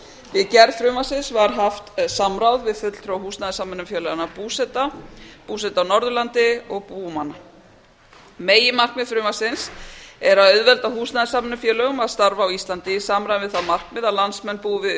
við gerð frumvarpsins var haft samráð við fulltrúa húsnæðissamvinnufélaganna búseta búseta á norðurlandi og búmanna meginmarkmið frumvarpsins er að auðvelda húsnæðissamvinnufélögum að starfa á íslandi í samræmi við það markmið að landsmenn búi við